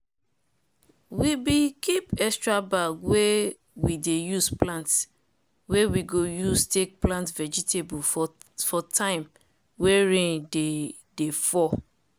we dey keep extra bag wey we dey use plant wey we go use take plant vegatable for time wey rain dey dey fall.